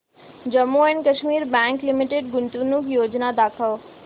Jammu and Kashmir bank limited गुंतवणूक योजना दाखव